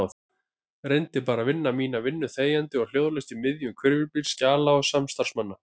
Reyndi bara að vinna mína vinnu þegjandi og hljóðalaust í miðjum hvirfilbyl skjala og samstarfsmanna.